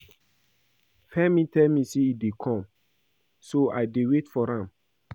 Femi tell me say e dey come so I dey wait for am